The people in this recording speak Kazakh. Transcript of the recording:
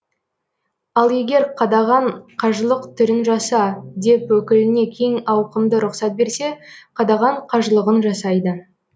ал егер қадаған қажылық түрін жаса деп өкіліне кең ауқымды рұқсат берсе қадаған қажылығын жасайды